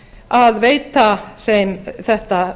að veita þeim þetta